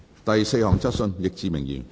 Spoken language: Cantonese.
第四項質詢。